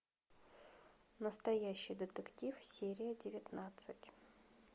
настоящий детектив серия девятнадцать